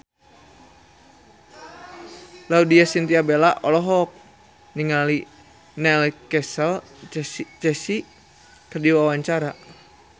Laudya Chintya Bella olohok ningali Neil Casey keur diwawancara